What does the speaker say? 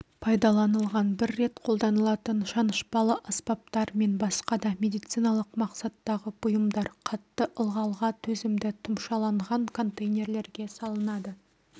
пайдаланылған бір рет қолданылатын шанышпалы аспаптар мен басқа да медициналық мақсаттағы бұйымдар қатты ылғалға төзімді тұмшаланған контейнерлерге салынады